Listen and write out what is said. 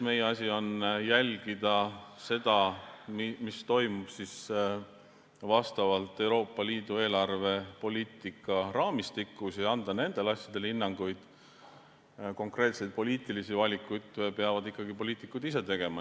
Meie asi on jälgida seda, mis toimub Euroopa Liidu eelarvepoliitika raamistikus, ja anda nendele asjadele hinnanguid, konkreetseid poliitilisi valikuid peavad ikkagi poliitikud tegema.